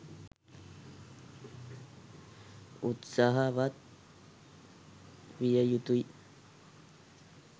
උත්සාහවත් විය යුතුයි.